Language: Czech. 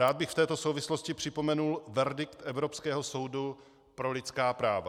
Rád bych v této souvislosti připomenul verdikt Evropského soudu pro lidská práva.